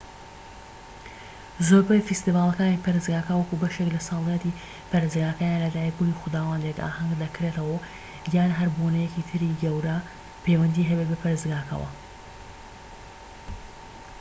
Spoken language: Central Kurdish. زۆربەی فیستیڤالەکانی پەرستگاکە وەکو بەشێك لە ساڵیادی پەرستگاکە یان لەدایکبوونی خوداوەندێك ئاهەنگ دەکرێتەوە یان هەر بۆنەیەکی تری گەورە پەیوەندی هەبێت بە پەرستگاکەوە